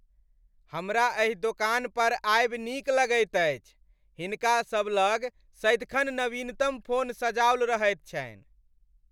हमरा एहि दोकान पर आयब नीक लगैत अछि। हिनका सबलग सदिखन नवीनतम फोन सजाओल रहैत छनि।